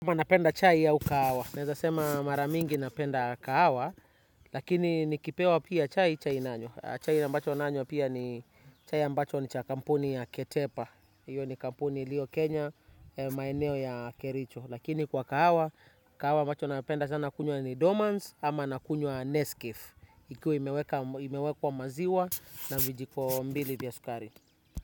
Unapenda chai au kahawa. Naeza sema maramingi napenda kahawa, lakini nikipewa pia chai chai nanywa. Chai ambacho nanywa pia ni chai ambacho ni cha kampuni ya ketepa. Iyo ni kampuni ilio kenya, maeneo ya kericho. Lakini kwa kahawa, kawa ambacho napenda sana kunywa ni domans ama nakunywa neskef. Ikiwa imewekwa maziwa na vijiko mbili vya sukari.